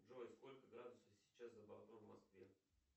джой сколько градусов сейчас за бортом в москве